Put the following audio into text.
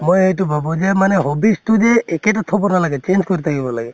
মই এইটো ভাবো যে মানে hobbies তো যে একেই তো থʼব নালাগে change কৰি থাকিব লাগে ।